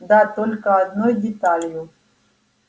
да только одной деталью